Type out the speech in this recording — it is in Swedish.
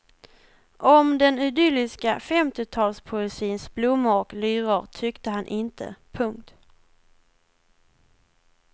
Om den idylliska femtiotalspoesins blommor och lyror tyckte han inte. punkt